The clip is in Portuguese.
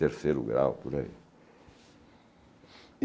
terceiro grau, por aí.